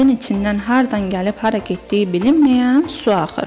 Kəndin içindən hardan gəlib hara getdiyi bilinməyən su axır.